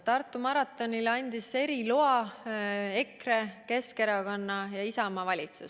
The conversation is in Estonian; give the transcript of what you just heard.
Tartu maratoni toimumiseks andis eriloa EKRE, Keskerakonna ja Isamaa valitsus.